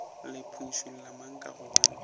le phušula mang ka gobane